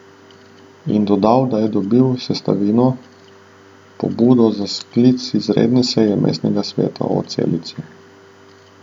In dodal, da je dobil Sestavino pobudo za sklic izredne seje mestnega sveta o Celici.